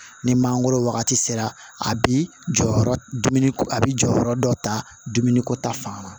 Ni mangoro wagati sera a bi jɔyɔrɔ dumuni ko a bi jɔyɔrɔ dɔ ta dumuniko ta fan